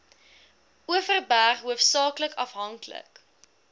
overberg hoofsaaklik afhanklik